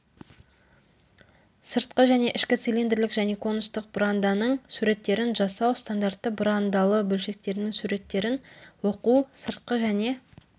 сыртқы және ішкі цилиндрлік және конустік бұранданың суреттерін жасау стандартты бұрандалы бөлшектерінің суреттерін оқу сыртқы және